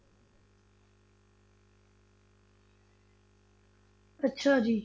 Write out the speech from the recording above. ਅੱਛਾ ਜੀ